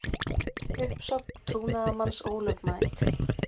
Uppsögn trúnaðarmanns ólögmæt